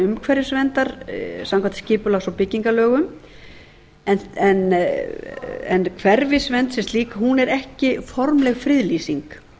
umhverfisverndar samkvæmt skipulags og byggingalögum en hverfisvernd sem slík er ekki formleg friðlýsing